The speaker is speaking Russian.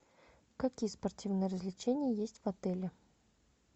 какие спортивные развлечения есть в отеле